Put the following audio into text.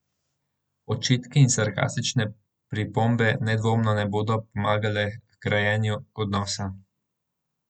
Očitki in sarkastične pripombe nedvomno ne bodo pomagale h grajenju odnosa.